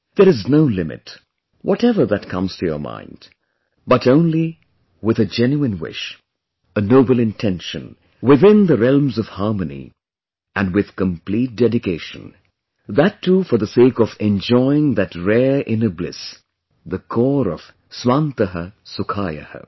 There is no limit whatever that comes to your mind but only with a genuine wish, a noble intention, within the realms of harmony, and with complete dedication... that too for the sake of enjoying that rare inner bliss, the core of 'Swaantah Sukhaayah'